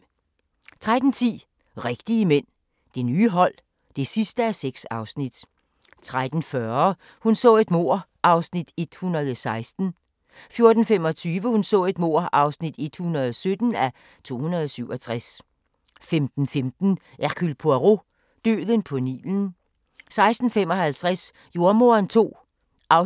13:10: Rigtige mænd – det nye hold (6:6) 13:40: Hun så et mord (116:267) 14:25: Hun så et mord (117:267) 15:15: Hercule Poirot: Døden på Nilen 16:55: Jordemoderen II (6:26)